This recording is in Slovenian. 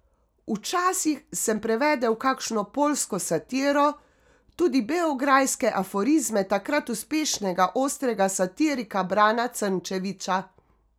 Včasih sem prevedel kakšno poljsko satiro, tudi beograjske aforizme takrat uspešnega ostrega satirika Brana Crnčevića.